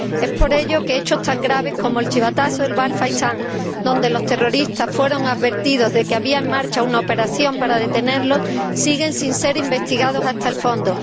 Es por ello que hechos tan graves como el chivatazo del Bar Faisán donde los terroristas fueron advertidos de que había en marcha una operación para detenerlos, siguen sin ser investigados hasta el fondo.